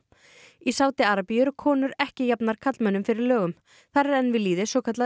í Sádi Arabíu eru konur ekki jafnar karlmönnum fyrir lögum þar er enn við lýði svokallað